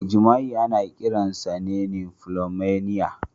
Mai jima'i ana kiransa "nymphomania".